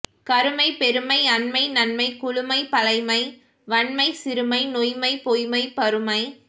கருமை பெருமை அண்மை நன்மை குளுமை பழைமை வன்மை சிறுமை நொய்மை பொய்மை பருமை